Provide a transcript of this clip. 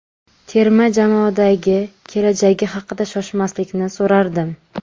Terma jamoadagi kelajagi haqida Shoshmaslikni so‘rardim.